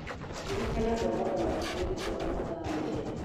Ririkana kũrogota matumbĩ thuwa wa mathaa merĩ.